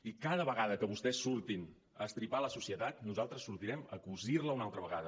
i cada vegada que vostès surtin a estripar la societat nosaltres sortirem a cosir la una altra vegada